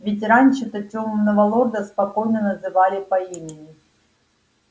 ведь раньше-то тёмного лорда спокойно называли по имени